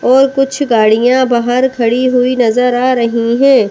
और कुछ गाड़ियां बाहर खड़ी हुई नजर आ रही है।